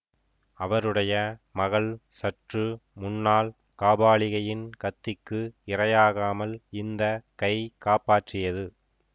அவருடைய மகள் சற்று முன்னால் காபாலிகையின் கத்திக்கு இரையாகாமல் இந்த கை காப்பாற்றியது